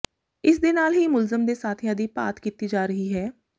ਇਸ ਦੇ ਨਾਲ ਹੀ ਮੁਲਜ਼ਮ ਦੇ ਸਾਥੀਆਂ ਦੀ ਭਾਲ ਕੀਤੀ ਜਾ ਰਹੀ ਹੈ